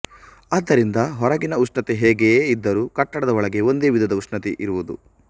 ಆದ್ದರಿಂದ ಹೊರಗಿನ ಉಷ್ಣತೆ ಹೇಗೆಯೇ ಇದ್ದರೂ ಕಟ್ಟಡದ ಒಳಗೆ ಒಂದೇ ವಿಧದ ಉಷ್ಣತೆ ಇರುವುದು